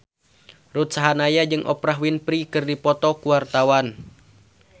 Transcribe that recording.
Ruth Sahanaya jeung Oprah Winfrey keur dipoto ku wartawan